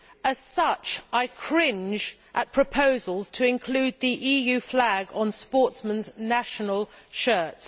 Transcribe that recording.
As such, I cringe at proposals to include the EU flag on sportsmen's national shirts.